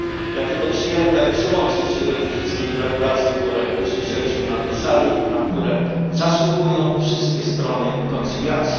Jakie to przyjemne przyłączyć się do tych wszystkich gratulacji, które usłyszeliśmy na tej sali, na które zasługują wszystkie strony koncyliacji.